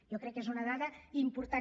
jo crec que és una dada important